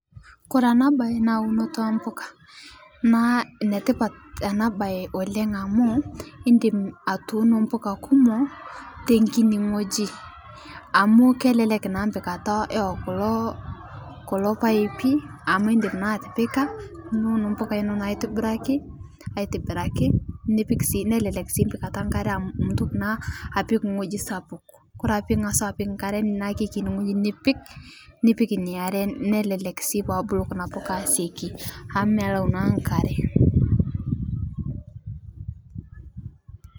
Kore ena bayi naa unote e mbukaa naa netipaat oleng ena bayi amu idiim atuuno mbukaaa kumook te nkitii ng'oji, amu kelelek naa mpikataa eo kuloo kuloo mpaipi amu idiim naa atipikaa niuun mbukaa eno aitibiraki, aitibiraki nipiik sii nelelek sii mpikataa enkare amu amu mituum naa apiik ng'oji sapuk kore ake pii ang'as nkare na kekinii ng'oji nipiik. Nipiik enia aare nelelek sii pee buluu kuna mbukaa aisooki amu mee laau naaa nkare.